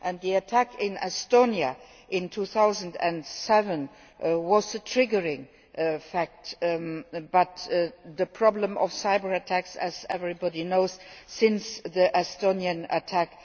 The attack in Estonia in 2007 was the triggering event, but the problem of cyber attacks has, as everybody knows, worsened since the Estonian attack.